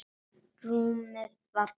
Rúmið var bælt.